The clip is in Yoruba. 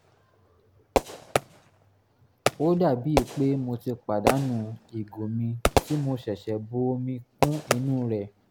ó dàbí pé mo ti pàdánù ìgò mi tí mo ṣẹ̀ṣẹ̀ bu omi kún inú rẹ̀